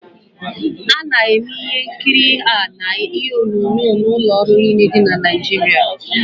A na-eme ihe nkiri a na telivishọn n'ụlọ ọrụ niile dị na Nigeria